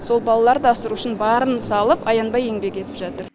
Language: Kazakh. сол балаларды асырау үшін барын салып аянбай еңбек етіп жатыр